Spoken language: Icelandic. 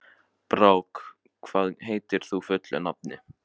Brák, hvað heitir þú fullu nafni?